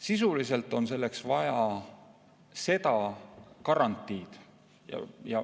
Sisuliselt on selleks vaja seda garantiid.